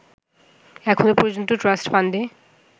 এখনও পর্যন্ত ট্রাষ্ট ফান্ডে